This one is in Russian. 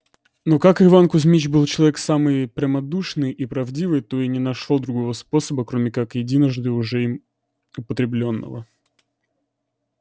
но как иван кузмич был человек самый прямодушный и правдивый то и не нашёл другого способа кроме как единожды уже им употреблённого